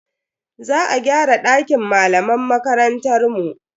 Za a gyara dakin malaman makarantar mu.